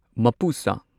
ꯃꯄꯨꯁꯥ